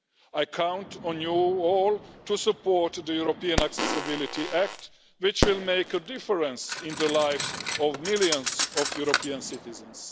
I count on you all to support the European Accessibility Act, which will make a difference in the lives of millions of European citizens.